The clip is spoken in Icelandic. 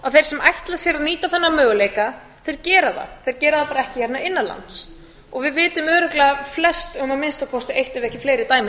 að þeir sem ætla sér að nýta þennan möguleika gera það þeir gera það bara ekki hérna innan lands og við vitum örugglega flest um að eitt ef ekki fleiri dæmi